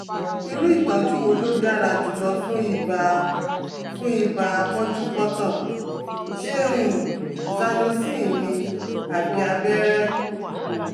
Irú ìtọ́jú wo ló dára jùlọ fún ibà fún ibà pọ́njúpọ́ntọ̀ - ṣé um Zanocin ni àbí abẹ́rẹ́? um